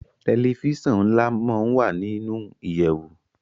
Tẹlifíṣàn nla món wá nínú ìyèwù